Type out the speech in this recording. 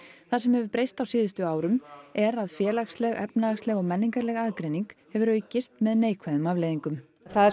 það sem hefur breyst á síðustu árum er að félagsleg efnahagsleg og menningarleg aðgreining hefur aukist með neikvæðum afleiðingum það er